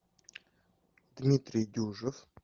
дмитрий дюжев